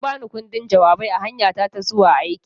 An ba ni ƙundin jawabai a hanyata ta zuwa aiki.